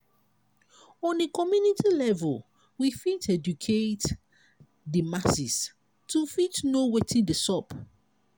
on a community level we fit educate di masses to fit know wetin dey sup